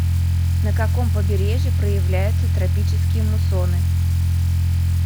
на каком побережье проявляются тропические муссоны